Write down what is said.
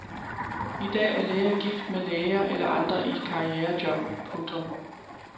I dag er læger gift med læger eller andre i karrierejob. punktum